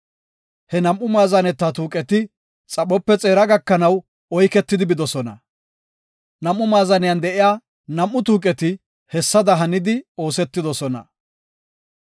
He nam7u maazane tuuqeti xaphope xeera gakanaw oyketi bidosona. Nam7u maazaniyan de7iya nam7u tuuqeti hessada hanidi oosetidosona.